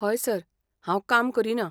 हय सर. हांव काम करीना.